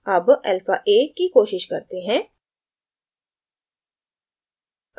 अब alpha a की कोशिश करते हैं